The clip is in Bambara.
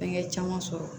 Fɛnkɛ caman sɔrɔ